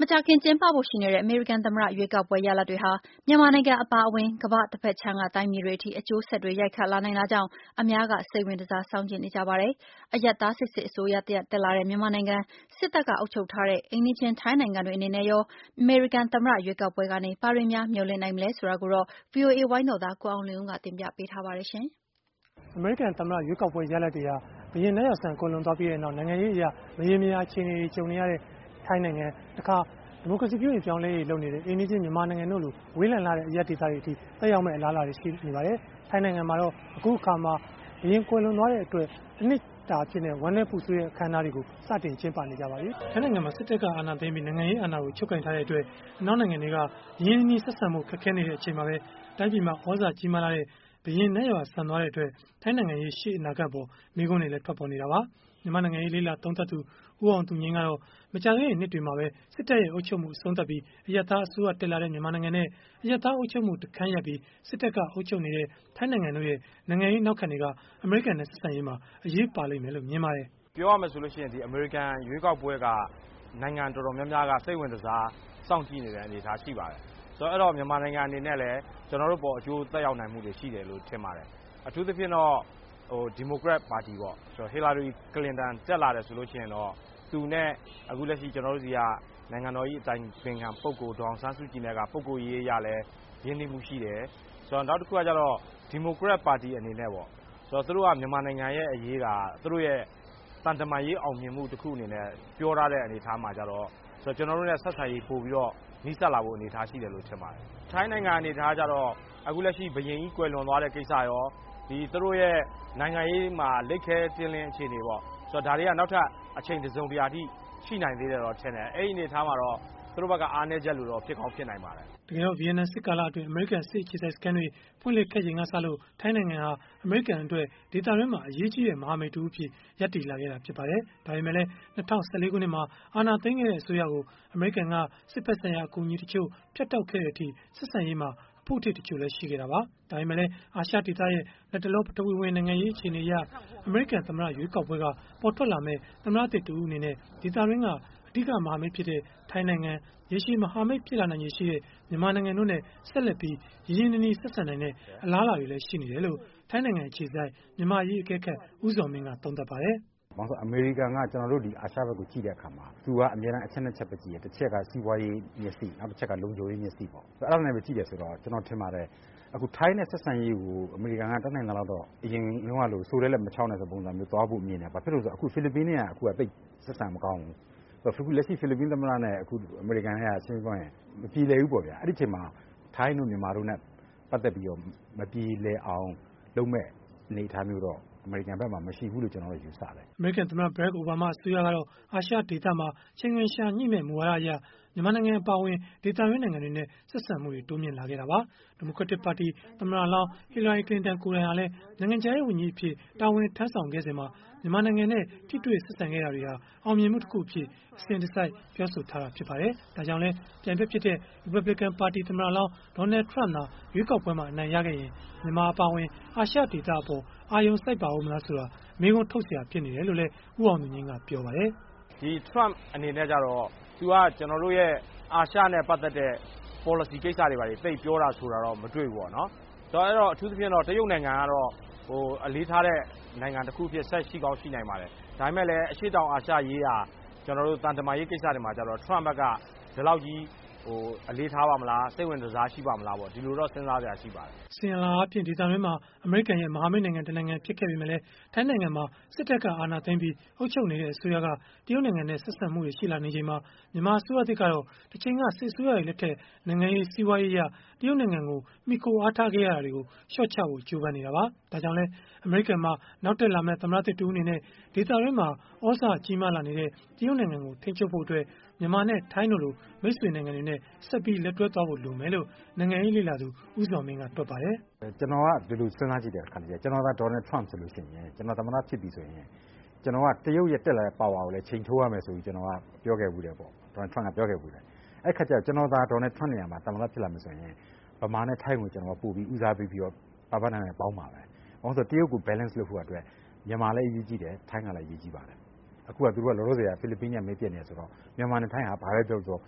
မကြာခင်ကျင်းပဖို့ ရှိနေတဲ့ အမေရိကန် သမ္မတရွေးကောက်ပွဲ ရလဒ်တွေဟာ မြန်မာနိုင်ငံ အပါအဝင် ကမ္ဘာတဘက်ခြမ်းက တိုင်းပြည်တွေအထိ အကျိုးဆက်တွေ ရိုက်ခတ်လာနိုင်တာကြောင့် အများကစိတ်ဝင်တစား စောင့်ကြည့်နေကြပါတယ်။ အရပ်သားစစ်စစ် အစိုးရတရပ် တက်လာတဲ့ မြန်မာနိုင်ငံ၊ စစ်တပ်က အုပ်ချုပ်ထားတဲ့ အိမ်နီးချင်း ထိုင်းနိုင်ငံတွေ အနေနဲ့ရော အမေရိကန် သမ္မတရွေးကောက်ပွဲကနေ ဘာတွေများမျှော်လင့်နိုင်မလဲ ဆိုတာကိုတော့ ဗွီအိုအေ ဝိုင်းတော်သား ကိုအောင်လွင်ဦး ကတင်ပြပေးထားပါတယ်။ အမေရိကန်သမ္မတရွေးပွဲ ရလဒ်တွေဟာ ဘုရင်နတ်ရွာစံခဲ့ပြီးနောက် နိုင်ငံရေးအရ မရေမရာ အခြေအနေကြုံနေရတဲ့ ထိုင်းနိုင်ငံ၊ ဒီမိုကရေစီ ပြုပြင်ပြောင်းလဲရေး လုပ်ဆောင်နေတဲ့ အိမ်နီးချင်း မြန်မာနိုင်ငံတို့လို အလှမ်းဝေးလှတဲ့ တိုင်းပြည်တွေအထိ သက်ရောက်မယ့် အလားအလာတွေ ရှိနေပါတယ်။ ထိုင်းနိုင်ငံမှာတော့ ဘုရင်မင်းမြတ် ကွယ်လွန်ပြီးနောက် တနှစ်ကြာ ဝမ်းနည်းခြင်းအထိမ်းအမှတ်အဖြစ် သတ်မှတ် ကျင်းပနေကြပါပြီ။ ထိုင်းနိုင်ငံမှာ စစ်တပ်က အာဏာသိမ်းပြီး နိုင်ငံရေးအာဏာကို ချုပ်ကိုင်ထားတဲ့အတွက် အနောက်နိုင်ငံတွေက ရင်းရင်းနှီးနှီး ဆက်ဆံဖို့ ခက်ခဲနေတဲ့ အချိန်မှာပဲ တိုင်းပြည်မှာ သြဇာကြီးမားလှတဲ့ ဘုရင်နတ်ရွာစံသွားတဲ့အတွက် ထိုင်းနိုင်ငံရေး ရှေ့အနာဂတ်အပေါ် မေးခွန်းတွေလည်း ထွက်ပေါ်နေတာပါ။ မြန်မာ့နိုင်ငံရေး လေ့လာသုံးသပ်သူ ဦးအောင်သူငြိမ်း ကတော့ မကြာသေးခင်နှစ်တွေမှာပဲ စစ်တပ်ရဲ့အုပ်ချုပ်မှု အဆုံးသတ်ပြီး အရပ်သား အစိုးရတက်လာတဲ့ မြန်မာနိုင်ငံနဲ့ အရပ်သားအုပ်ချုပ်မှု တခန်းရပ်ပြီး စစ်တပ်က အုပ်ချုပ်နေတဲ့ ထိုင်းနိုင်ငံတို့ရဲ့ နိုင်ငံရေးနောက်ခံတွေက အမေရိကန်နဲ့ ဆက်ဆံရေးမှာ အရေးပါလိမ့်မယ်လို့ မြင်ပါတယ်။ “ပြောရမယ်ဆိုရင် အမေရိကန်ရွေးကောက်ပွဲက နိုင်ငံတော်တော်များများက စိတ်ဝင်တစားစောင့်ကြည့်နေတဲ့ အနေအထားရှိပါတယ်။ ဆိုတော့ မြန်မာနိုင်ငံအနေနဲ့လည်း ကျနော်တို့အပေါ်အကျိုးသက်ရောက် မှုတွေ ရှိတယ်လို့ ထင်ပါတယ်။ အထူးသဖြင့်တော့ ဒီမိုကရက်ပါတီပေါ့ ဟီလာရီကလင်တန် တက်လာရင်တော့ သူနဲ့ လက်ရှိ ကျနော်တို့ဆီက နိုင်ငံတော်အတိုင်ပင်ခံ ပုဂ္ဂိုလ် ဒေါ်အောင်ဆန်းစုကြည်နဲ့ က ပုဂ္ဂိုလ်ရေးအရလည်း ရင်းနှီးမူရှိတယ် ။ နောက်တခုကတော့ ဒီမိုကရက်ပါတီအနေနဲ့ သူတို့က မြန်မာနိုင်ငံအရေးက သူတို့ရဲ့ သံတမန်ရေးအောင်မြင်မှုအနေနဲ့ သူတို့ပြောထားတဲ့အနေအထားမှာဆိုတော့ ကျနော်တို့နဲ့ ဆက်ဆံရေးပိုပြီးတော့ နီးစပ်လာဖို့ ရှိတဲ့အနေအထားလို့ထင်ပါတယ်။ ထိုင်းနိုင်ငံ အနေအထားကတော့ အခုလက်ရှိ ဘုရင်ကြီး ကွယ်လွန်သွားတဲ့ ကိစ္စရော သူတိုရဲ့ နိုင်ငံရေးမှာ လိပ်ခဲ တည်းလည်း အခြေအနေပေါ့ ဆိုတော့ ဒါတွေက နောက်ထပ် အခြေအနေတစုံတရာအထိ ရှိနိုင်သေးတယ်လို့ထင်တယ် အဲဒီအနေအထားမှာတော့ သူတို့ဘက်က အားနည်းချက်ဖြစ်ကောင်းဖြစ်နိုင်မယ်လို့ထင်တယ်။” တကယ်တော့ ဗီယက်နမ်စစ်ကာလအတွင်း အမေရိကန် စစ်အခြေစိုက်စခန်းတွေ ဖွင့်လှစ်ခဲ့ချိန်ကစလို့ ထိုင်းနိုင်ငံဟာ အမေရိကန်အတွက် ဒေသတွင်းမှာ အရေးကြီးတဲ့ မဟာမိတ်တဦးအဖြစ် ရပ်တည်လာခဲ့တာ ဖြစ်ပါတယ်။ ဒါပေမဲ့လည်း ၂၀၁၄ ခုနှစ်မှာ အာဏာသိမ်းခဲ့တဲ့ အစိုးရကို အမေရိကန်က စစ်ဘက်ဆိုင်ရာ အကူအညီတချို့ ဖြတ်တောက်ခဲ့တဲ့အထိ ဆက်ဆံရေးမှာ အဖုအထစ် တချို့လည်း ရှိခဲ့တာပါ။ ဒါပေမဲ့လည်း အာရှဒေသရဲ့ လတ်တလော ပထဝီဝင်နိုင်ငံရေး အခြေအနေအရ အမေရိကန် သမ္မတရွေးကောက်ပွဲက ပေါ်ထွက်လာမယ့် သမ္မတသစ်တဦး အနေနဲ့ ဒေသတွင်းက အဓိကမဟာမိတ်ဖြစ်တဲ့ ထိုင်းနိုင်ငံ၊ ရှေရှည်မဟာမိတ် ဖြစ်လာနိုင်ချေရှိတဲ့ မြန်မာနိုင်ငံတို့နဲ့ ဆက်လက်ပြီး ရင်းရင်းနှီးနှီး ဆက်ဆံနိုင်တဲ့ အလားအလာတွေလည်း ရှိနေတယ်လို့ ထိုင်းနိုင်ငံအခြေစိုက် မြန်မာ့အရေးအကဲခတ် ဦးဇော်မင်း က သုံးသပ်ပါတယ်။ “ဘာဖြစ်လို့လဲဆိုတော့ အမေရိကန်က ကျနော်တို့ အာရှဘက်ကိုကြည့်တဲ့အခါမှာ သူက အမြဲတမ်း အချက် ၂ ချက်ပဲ ကြည့်တယ်။ တချက်က စီးပွားရေးမျက်စိ၊ နောက်တချက်က လုံခြုံရေးမျက်စိပေါ့။ အဲဒါနဲ့ပဲ ကြည့်တယ်ဆိုတော့ ကျနော်ထင်ပါတယ် အခုထိုင်းနဲ့ ဆက်ဆံရေးကို အမေရိကန်က တတ်နိုင်သလောက်တော့ အရင်တုန်းကလို စိုတဲ့လက် မခြောက်နဲ့လို့ သွားဖို့မြင်တယ်။ အခုက ဖိလစ်ပိုင်နဲ့ က ဆက်ဆံရေးမကောင်းဘူး။ အခုလက်ရှိဖိလစ်ပိုင်သမ္မတနဲ့ အမေရိကန်နဲ့ က ရှင်းရှင်းပြောရရင် မပြေလည်ဘူးပေါ့ဗျာ။ အဲဒီအချိန်မှာ ထိုင်းနဲ့ မြန်မာတို့နဲ့ ပတ်သက်ပြီးတော့ မပြေလည်အောင် လုပ်မယ့်အနေအထားမျိုးတော့ အမေရိကန်ဘက်မှာမှရှိဘူးလို့တော့ ယူဆတယ်။” အမေရိကန် သမ္မတ ဘရက်ခ် အိုဘားမား အစိုးရကတော့ အာရှဒေသမှာ ချိန်ခွင်လျှာညှိမယ့် မူဝါဒအရ မြန်မာနိုင်ငံ အပါအဝင် ဒေသတွင်း နိုင်ငံတွေနဲ့ ဆက်ဆံမှုတွေ တိုးမြှင့်လာခဲ့တာပါ။ ဒီမိုကရက်တစ်ပါတီ သမ္မတလောင်း ဟီလာရီ ကလင်တန် ကိုယ်တိုင်ဟာလည်း နိုင်ငံခြားရေး ဝန်ကြီးအဖြစ် တာဝန်ထမ်းဆောင်စဉ်မှာ မြန်မာနိုင်ငံနဲ့ ထိတွေ့ဆက်ဆံခဲ့တာတွေဟာ အောင်မြင်မှုတခုအဖြစ် အစဉ်တစိုက် ပြောဆိုခဲ့တာ ဖြစ်ပါတယ်။ ဒါကြောင့်လည်း ပြိုင်ဘက်ဖြစ်တဲ့ ရီပတ်ဘလစ်ကန်ပါတီ သမ္မတလောင်း ဒေါ်နယ်ထရမ့် သာ ရွေးကောက်ပွဲမှာ အနိုင်ရခဲ့ရင် မြန်မာအပါအဝင် အာရှဒေသအပေါ် အာရုံစိုက်ပါဦးမလားဆိုတာ မေးခွန်းထုတ်စရာ ဖြစ်နေတယ်လို့လည်း ဦးအောင်သူငြိမ်း ကပြောပါတယ်။ “ဒီ Trump အနေနဲ့ကတော့ သူကကျနော်တို့ရဲ့ အာရှနဲ့ ပတ်သက်တဲ့ Policy ကိစ္စတွေ သိပ်ပြောတာဆိုတာတော့ မတွေ့ဘူးပေါ့နော်။ ဆိုတော့ အထူးသဖြင့်ကတော့ တရုတ်နိုင်ငံကတော့ အလေးထားတဲ့ နိုင်ငံတခုအဖြစ်ဆက်ရှိကောင်းရှိနိုင်ပါတယ်။ ဒါပေမယ့်လည်း အရှေ့တောင်အာရှရေး ရာ ကျနော်တို့ သံတမန်ရေးကိစ္စတွေမှာကျတော့ Trump ဘက်က ဒီလောက်ကြီးအလေးထားပါ့မလား။ စိတ်ဝင်တစားရှိပါ့မလား ဒီလိုတော့ စဉ်းစားစရာရှိပါတယ်။” အစဉ်အလာအားဖြင့် ဒေသတွင်းမှာ အမေရိကန်ရဲ့ မဟာမိတ်နိုင်ငံ တနိုင်ငံဖြစ်ပေမဲ့လည်း ထိုင်းနိုင်ငံမှာ စစ်တပ်က အာဏာသိမ်းပြီး အုပ်ချုပ်နေတဲ့အစိုးရက တရုတ်နိုင်ငံနဲ့ ဆက်ဆံလာနေချိန်မှာ၊ မြန်မာအစိုးရသစ်ကတော့ တချိန်က စစ်အစိုးရတွေလက်ထက်မှာ နိုင်ငံရေး၊ စီးပွားရေးအရ တရုတ်နိုင်ငံကို မှီခိုအားထားခဲ့ရတာတွေကို လျှော့ချဖို့ကြိုးပမ်းနေတာပါ။ ဒါကြောင့်လည်း အမေရိကန်မှာ နောက်တက်လာမယ့် သမ္မတသစ်တဦး အနေနဲ့ ဒေသတွင်းမှာ သြဇာကြီးမားလာနေတဲ့ တရုတ်နိုင်ငံကို ထိန်းချုပ်ဖို့အတွက် မြန်မာနဲ့ ထိုင်းတို့လို မိတ်ဆွေနိုင်ငံတွေနဲ့ ဆက်ပြီးလက်တွဲဖို့ လိုမယ်လို့ နိုင်ငံရေးလေ့လာသူ ဦးဇော်မင်း ကတွက်ပါတယ်။ “ကျနော်က ဒီလိုစည်းစားကြည့်တယ် တခါတလေကျရင် ကျနော်သာ Donald Trump ဆိုရင် ကျနော်သာ သမ္မတဖြစ်ပြီဆိုရင် ကျနော်က တရုတ်ရဲ့တက်လာတဲ့ ပါဝါကိုလည်း ချိန်ထိုးရမယ်ဆိုပြီး ကျနော်ပြောခဲ့ဖူးတယ်ပေါ့ Donald Trump ပြောခဲ့ဖူးတယ်။ ကျနော်သာ Donald Trump နေရာမှာ သမ္မတဖြစ်လာမယ်ဆိုရင် မြန်မာနဲ့ ထိုင်းကို ပိုဦးစားပေးပြီးတော့ ပါးပါးနပ်နပ်ပေါင်းမှာပဲ ဘာဖြစ်လို့လဲဆိုတော့ တရုတ်ကို balance လုပ်ဖို့အတွက် မြန်မာလည်း အရေးကြီးတယ်၊ ထိုင်းလည်းအရေးကြီးပါတယ်။ အခုက လောလောဆယ် ဖိလစ်ပိုင်နဲ့ မိတ်ပျက်နေတယ်ဆိုတော့ မြန်မာနဲ့ ထိုင်းက ဘာပဲပြောပြော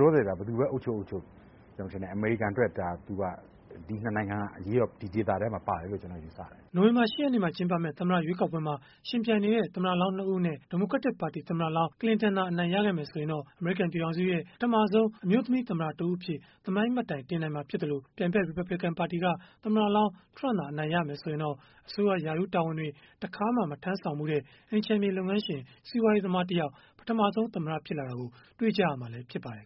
လောလောဆယ် ဘယ်သူပဲ အုပ်ချုပ် ကျနော်ထင်တယ် အမေရိကန်အတွက်ဒါက ဒီ ၂ နိုင်ငံက အရေးတော့ ဒီဒေသထဲမှာပါတယ်လို့ ကျနော်ယူဆတယ်။” နိုဝင်ဘာ ၈ ရက်နေ့မှာ ကျင်းပမယ့် သမ္မတရွေးကောက်ပွဲမှာ ယှဉ်ပြိုင်နေတဲ့ သမ္မတလောင်း ၂ ဦးအနက် ဒီမိုကရက်တစ်ပါတီ သမ္မတလောင်း ကလင်တန် အနိုင်ရခဲ့မယ် ဆိုရင်တော့ အမေရိကန် ပြည်ထောင်စုရဲ့ ပထမဆုံး အမျိုးသမီးသမ္မတ တဦးအဖြစ် သမိုင်းမှတ်တိုင်တင်နိုင်မှာ ဖြစ်သလို၊ ပြိုင်ဘက် ရီပတ်ဘလစ်ကန်ပါတီက သမ္မတလောင်း ထရမ့် အနိုင်ရခဲ့မယ် ဆိုရင်တော့ အစိုးရရာထူးတာဝန်တွေ တခါမှ မထမ်းဆောင်ဖူးတဲ့ အိမ်ခြံမြေ လုပ်ငန်းရှင် စီးပွားရေးသမားတယောက် ပထမဆုံးသမ္မတ ဖြစ်လာတာကို တွေ့ကြရမှာလည်း ဖြစ်ပါတယ်